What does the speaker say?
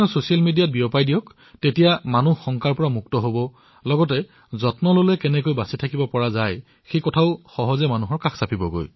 তেতিয়া কি হব জনসাধাৰণে ভয়ো নাখায় একে সময়তে নিজৰ যত্নৰ দ্বাৰা কিদৰে এই ৰোগৰ পৰা ৰক্ষা পৰিব পাৰি সেই বিষয়েও ভালদৰে গম পাব